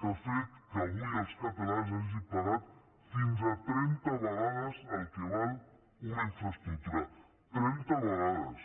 que ha fet que avui els catalans hagin pagat fins a trenta vegades el que val una infraestructura trenta vegades